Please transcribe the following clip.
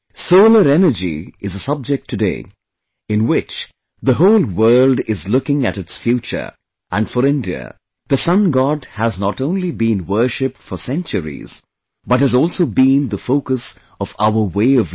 Solar Energy is a subject today, in which the whole world is looking at its future and for India, the Sun God has not only been worshiped for centuries, but has also been the focus of our way of life